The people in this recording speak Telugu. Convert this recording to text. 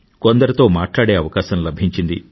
కొందరితో మాట్లాడే అవకాశం లభించింది